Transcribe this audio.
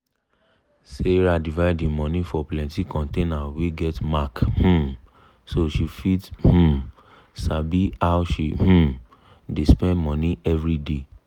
sarah divide e money for plenti container wey get mark um so she fit um sabi how she um dey spend money everyday.